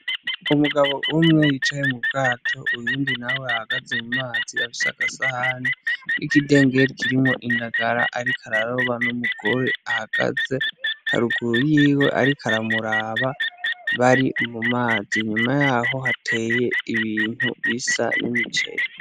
Umugabo umwe yicaye mu bwato uyundi nawe ahagaze mu mazi afise agasahani, n'ikidengeri kirimo indagara ariko araroba, n'umugore ahagaze haruguru yiwe ariko aramuraba bari mu mazi nyuma y'aho hateye ibintu bisa n'imiceri.